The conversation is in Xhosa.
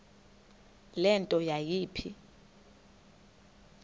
le nto yayipha